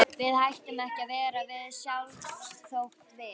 Við hættum ekki að vera við sjálf þótt við.